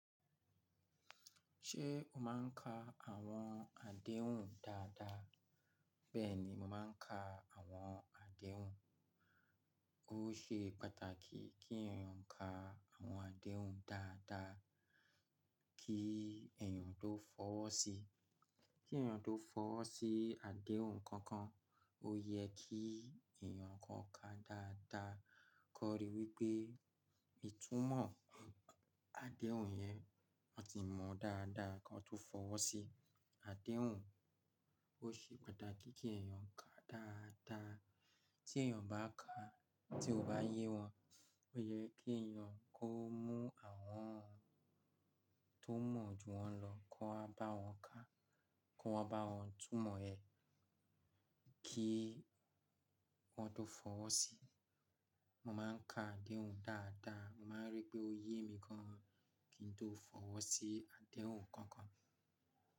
Ṣé o máa ń ka àwọn àdéhùn dáadáa? Bẹ́ẹ̀ni, mo máa ń ka àwọn àdéhùn. Ó ṣe pàtàkì kí èèyàn ka àwọn àdéhùn dáadáa kí èèyàn tó fọwọ́ sí, kí èèyàn tó fọwọ́ sí àdéhùn kankan ó yẹ kí èèyàn kó ka dáadáa kó ríi wípé ìtúmọ̀ àdéhùn yẹn wọ́n ti mọ dáadáa kí wọ́n tó fọwọ́ sí àdéhùn. Ó ṣe pàtàkì kí èèyàn ka dáadáa. Tí èèyàn bá ká, tí ó bá yé wọn, ó yẹ kí èèyàn kó mú àwọn tó mọ̀ ju wọn lọ kó bá wọn ka, kó bá wọn túmọ̀ ẹ̀ kí wọ́n tó fọwọ́ sí i. Mo máa ń ka àdéhùn dáadáa. Mo máa ń rí pé ó yé mi gan kí n tó fọwọ́ sí àdéhùn kankan.